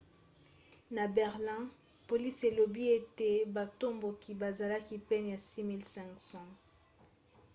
na berlin polisi elobi ete batomboki bazalaki pene ya 6 500